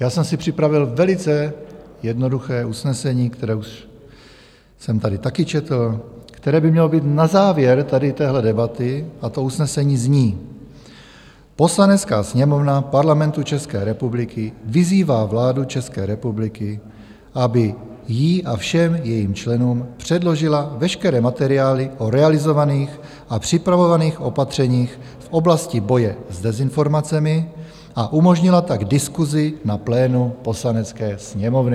Já jsem si připravil velice jednoduché usnesení, které už jsem tady také četl, které by mělo být na závěr tady téhle debaty, a to usnesení zní: "Poslanecká sněmovna Parlamentu České republiky vyzývá vládu České republiky, aby jí a všem jejím členům předložila veškeré materiály o realizovaných a připravovaných opatřeních v oblasti boje s dezinformacemi a umožnila tak diskusi na plénu Poslanecké sněmovny."